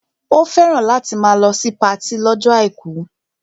Ó fẹ́ràn láti máa lọ sí patí lọ́jọ́ àìkú